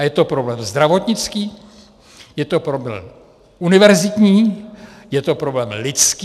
A je to problém zdravotnický, je to problém univerzitní, je to problém lidský!